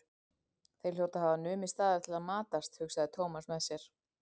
Þeir hljóta að hafa numið staðar til að matast, hugsaði Thomas með sér.